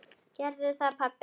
Gerðu það pabbi!